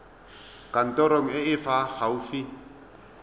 kantorong e e fa gaufi